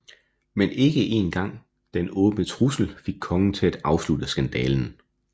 Men ikke en gang denne åbne trussel fik kongen til at afslutte skandalen